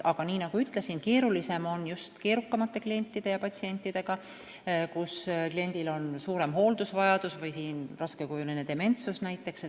Nii nagu ütlesin, keerulisem on just keerukamate klientide ja patsientidega, kellel on suurem hooldusvajadus või siis näiteks raskekujuline dementsus.